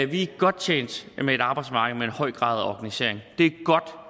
vi er godt tjent med et arbejdsmarked med en høj grad af organisering